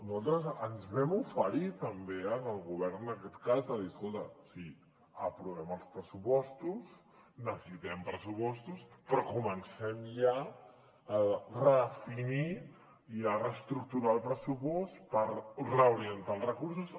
nosaltres ens vam oferir també al govern en aquest cas de dir escolta sí aprovem els pressupostos necessitem pressupostos però comencem ja a redefinir i a reestructurar el pressupost per reorientar els recursos